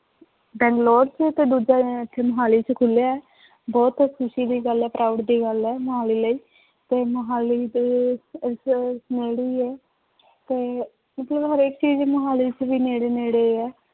ਬੰਗਲੋਰ ਚ ਤy ਦੂਜਾ ਇੱਥੇ ਮੁਹਾਲੀ ਚ ਖੁੱਲਿਆ ਹੈ, ਬਹੁਤ ਖ਼ੁਸ਼ ਦੀ ਗੱਲ ਹੈ proud ਦੀ ਗੱਲ ਹੈ ਮੁਹਾਲੀ ਲਈ ਤੇ ਮੁਹਾਲੀ ਦੇ ਇੱਥੇ ਨੇੜੇ ਹੀ ਹੈ ਤੇ ਮਤਲਬ ਹਰੇਕ ਚੀਜ਼ ਹੀ ਮੁਹਾਲੀ ਚ ਵੀ ਨੇੜੇ ਨੇੜੇ ਹੈ।